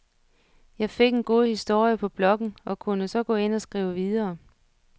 Jeg fik en god historie på blokken og kunne så gå ind og skrive videre.